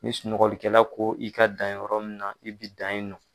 Ni sunɔgɔlikɛla ko i ka dan yɔrɔ min na i bɛ dan in nɔ.